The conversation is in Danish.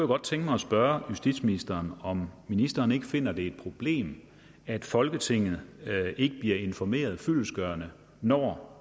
godt tænke mig at spørge justitsministeren om ministeren ikke finder at det er et problem at folketinget ikke bliver informeret fyldestgørende når